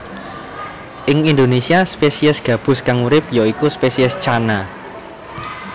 Ing Indonésia spesies gabus kang urip ya iku spesies Channa